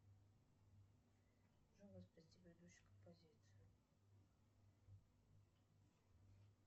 джой воспроизвести предыдущую композицию